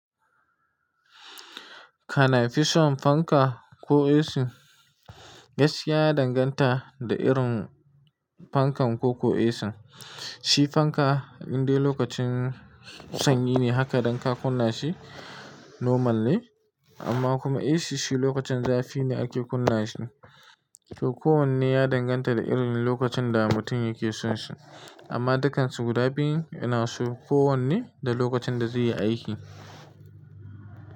Kana fi son fanka ko AC? Gaskiya ya danganta da irin fankan ko ko ACn. Shi fanka indai lokacin sanyi ne haka dan ka kunna shi normal ne amma kuma AC shi lokacin zafi ne ake kunna shi. To kowanne ya danganta da irin lokacin da mutum yake son shi amma dukkan su guda biyun ina so kowanne da lokacin da zai yi aiki.